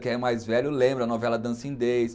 Quem é mais velho lembra a novela Dancing Days.